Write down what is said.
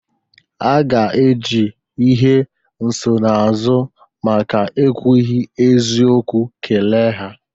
A ga-eji ihe nsonaazụ maka ekwughi eziokwu kele ha.